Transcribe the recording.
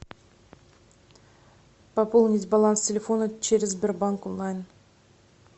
пополнить баланс телефона через сбербанк онлайн